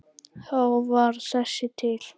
Þá varð þessi til.